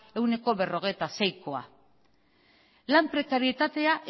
ehuneko berrogeita seikoa lan prekaritatea